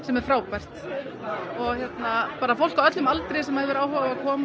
er frábært fólk á öllum aldri sem hefur áhuga á að koma